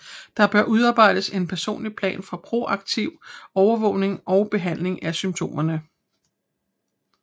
Der bør udarbejdes en personlig plan for proaktiv overvågning og behandling af symptomerne